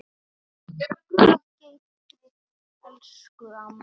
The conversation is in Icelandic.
Guð geymi þig, elsku amma.